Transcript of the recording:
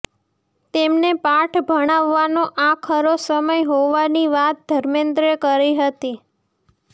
તેમને પાઠ ભણાવવાનો આ ખરો સમય હોવાની વાત ધર્મેન્દ્રે કરી હતી